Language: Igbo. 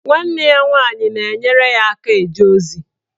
Nwanne ya nwaanyị na-enyere ya aka eje ozi.